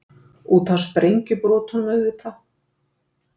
Út af sprengjubrotunum, auðvitað!